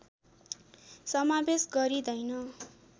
समावेश गरिँदैन